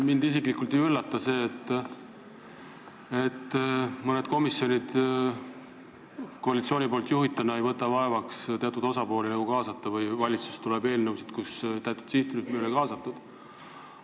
Mind isiklikult ei üllata, et mõned komisjonid, mida juhib koalitsiooni esindaja, ei võta vaevaks teatud osapooli kaasata või valitsusest tuleb eelnõusid, mille puhul sihtrühmi ei ole kaasatud.